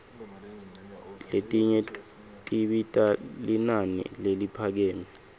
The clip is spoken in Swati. letinye tibita linani leliphakeme